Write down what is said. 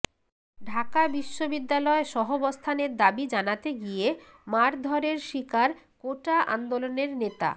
ঢাকা বিশ্ববিদ্যালয় সহাবস্থানের দাবি জানাতে গিয়ে মারধরের শিকার কোটা আন্দোলনের নেতা